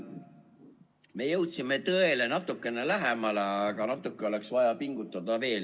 Me jõudsime tõele natukene lähemale, aga natuke oleks vaja veel pingutada.